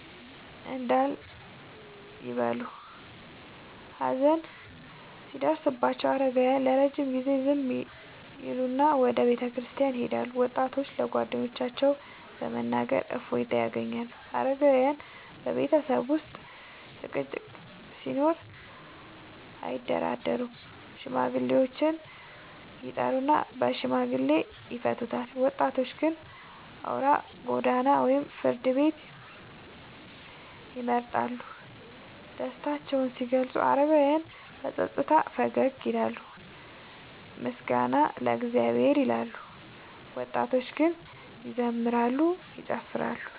እንዳል ይበሉ። ሀዘን ሲደርስባቸው አረጋውያን ለረጅም ጊዜ ዝም ይላሉና ወደ ቤተክርስቲያን ይሄዳሉ፤ ወጣቶች ለጓደኞቻቸው በመናገር እፎይታ ያገኛሉ። አረጋውያን በቤተሰብ ውስጥ ጭቅጭቅ ሲኖር አያደራደሩም፤ ሽማግሌዎችን ይጠሩና በሽምግልና ይፈቱታል። ወጣቶች ግን አውራ ጎዳና ወይም ፍርድ ቤት ይመርጣሉ። ደስታቸውን ሲገልጹ አረጋውያን በጸጥታ ፈገግ ይላሉና “ምስጋና ለእግዚአብሔር” ይላሉ፤ ወጣቶች ግን ይዘምራሉ፤ ይጨፍራሉ።